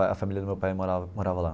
A família do meu pai mora morava lá.